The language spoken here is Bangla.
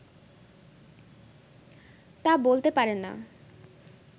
তা বলতে পারে না